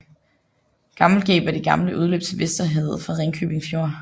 Gammelgab er det gamle udløb til Vesterhavet fra Ringkøbing Fjord